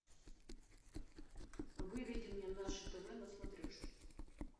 выведи мне наше тв на смотрешке